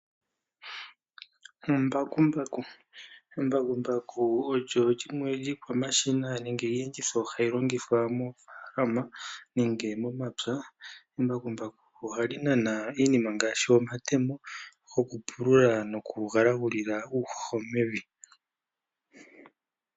Embakumbaku Embakumbaku olyo limwe lyiikwamashina nenge iiyenditho hayi longithwa moofaalama nenge momapya. Embakumbaku ohali nana iinima ngaashi omatemba goku pulula noku galagulila uuhoho mevi.